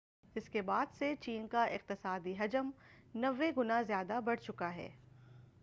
اس کے بعد سے چین کا اقتصادی حجم 90 گنا زیادہ بڑھ چکا ہے